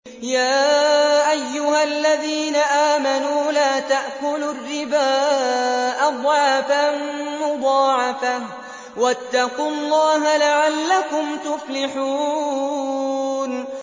يَا أَيُّهَا الَّذِينَ آمَنُوا لَا تَأْكُلُوا الرِّبَا أَضْعَافًا مُّضَاعَفَةً ۖ وَاتَّقُوا اللَّهَ لَعَلَّكُمْ تُفْلِحُونَ